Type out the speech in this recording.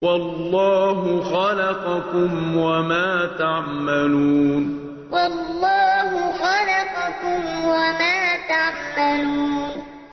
وَاللَّهُ خَلَقَكُمْ وَمَا تَعْمَلُونَ وَاللَّهُ خَلَقَكُمْ وَمَا تَعْمَلُونَ